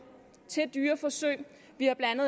til dyreforsøg vi har blandt